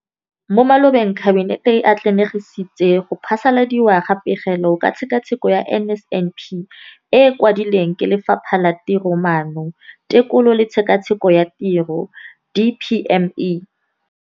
Mo malobeng Kabinete e atlenegisitse go phasaladiwa ga Pegelo ka Tshekatsheko ya NSNP e e kwadilweng ke Lefapha la Tiromaano, Tekolo le Tshekatsheko ya Tiro, DPME].